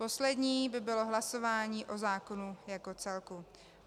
Poslední by bylo hlasování o zákonu jako celku.